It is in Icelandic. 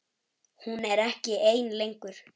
Hún er ekki ein lengur.